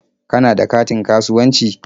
Kana da katin kasuwanci?